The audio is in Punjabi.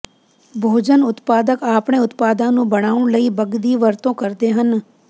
ਭੋਜਨ ਉਤਪਾਦਕ ਆਪਣੇ ਉਤਪਾਦਾਂ ਨੂੰ ਬਣਾਉਣ ਲਈ ਬੱਗ ਦੀ ਵਰਤੋਂ ਕਰਦੇ ਹਨ